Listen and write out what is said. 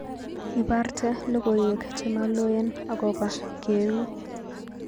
Iborte logoywek chemaloen agoba keuu